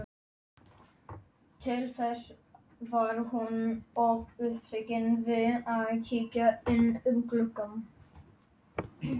Í upphafi bjó Rithöfundasambandið við frumstæð skilyrði.